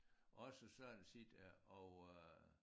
Også sådan set og øh